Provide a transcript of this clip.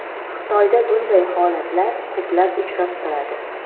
Xitoyda bunday holatlar ko‘plab uchrab turadi.